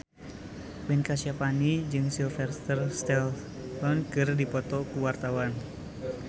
Ben Kasyafani jeung Sylvester Stallone keur dipoto ku wartawan